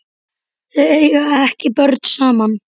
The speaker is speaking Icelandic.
Þau eiga ekki börn saman.